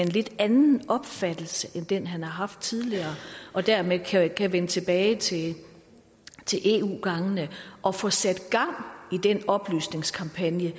en lidt anden opfattelse end den han har haft tidligere og dermed kan vende tilbage til eu gangene og få sat gang i den oplysningskampagne